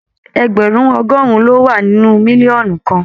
Ẹgbẹrun ọgọrùn lo wà nínú mílíọ̀nù kan.